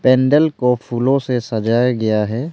Candle को फूलों से सजाया गया है।